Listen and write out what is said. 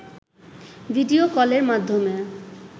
video কলের মাধ্যমে